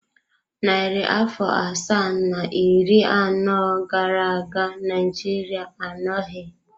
Narị afọ asaa na iri anọ gara aga Naịjirịa anọghị.